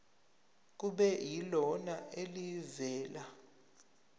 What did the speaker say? kube yilona elivela